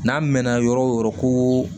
N'an mɛn na yɔrɔ o yɔrɔ ko